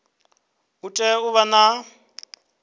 u tea u vha na